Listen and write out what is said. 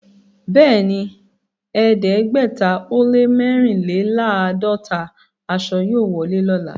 Bẹ́ẹ̀ni, ẹ̀ẹ́dẹ́gbẹ̀tà ó lẹ́ mẹ́rìnléláàádọ́tà àṣọ yóò wọlé lọ́lá.